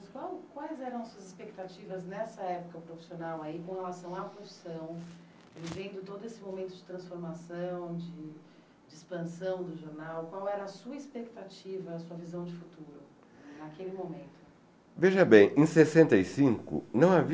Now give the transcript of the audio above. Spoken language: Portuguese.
Qual, quais eram suas expectativas nessa época profissional com relação à profissão, vivendo todo esse momento de transformação, de de expansão do jornal? Qual era a sua expectativa, a sua visão de futuro naquele momento? Veja bem, em sessenta e cinco, não havia